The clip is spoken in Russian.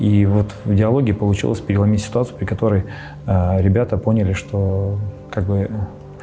и вот в диалоге получилось переломить ситуацию при которой ребята поняли что как бы